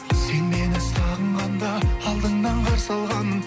сен мені сағынғанда алдыңнан қарсы алғанмын